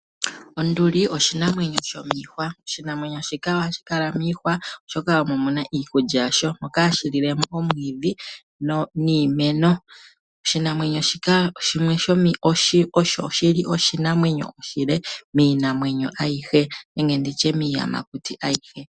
Onduli oshinamwenyo ,oshinamwenyo shika ohashi kala mokuti oshika omo muna iikulya yasho ,ohash lile mo omiti niimeno oshili oshinamwenyo shimwe oshile miinamwenyo nenge nditye miiyamakuti ayihe .